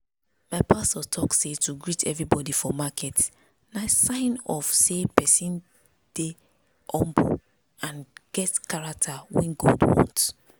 my pastor talk say to greet everybody for market na sign of say persin dey humble and get character wey god want.